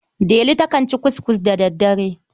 Delu takan ci ckuskus da daddare.